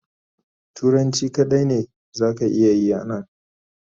turanci kadai me za ka iya Yi a Nan.